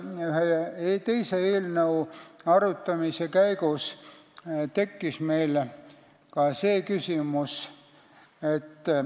Ühe teise eelnõu arutamise käigus tekkis meil veel üks küsimus.